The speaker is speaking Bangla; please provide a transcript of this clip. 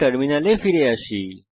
টার্মিনালে ফিরে আসি